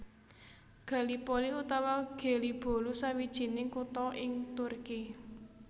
Gallipoli utawa Gelibolu sawijining kutha ing Turki